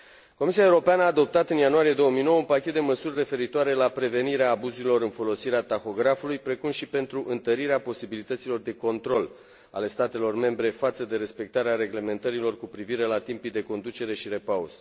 Comisia Europeană a adoptat în ianuarie 2009 un pachet de măsuri referitoare la prevenirea abuzurilor în folosirea tahografului, precum și pentru întărirea posibilităților de control ale statelor membre față de respectarea reglementărilor cu privire la timpii de conducere și repaus.